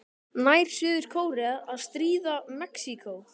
Nær Suður-Kórea að stríða Mexíkó?